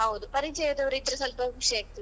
ಹೌದು ಪರಿಚಯದವ್ರು ಇದ್ರೆ ಸ್ವಲ್ಪ ಖುಷಿಯಾಗ್ತದೆ.